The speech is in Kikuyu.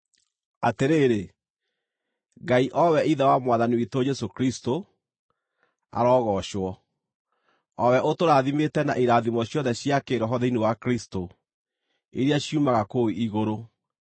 Atĩrĩrĩ, Ngai, o we Ithe wa Mwathani witũ Jesũ Kristũ, arogoocwo, o we ũtũrathimĩte na irathimo ciothe cia kĩĩroho thĩinĩ wa Kristũ, iria ciumaga kũu igũrũ.